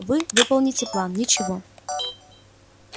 вы выполните план ничего